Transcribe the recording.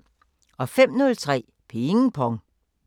05:03: Ping Pong